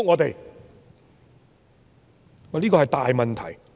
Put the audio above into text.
這是一個大問題。